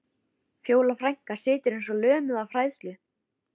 Fjóla frænka situr eins og lömuð af hræðslu.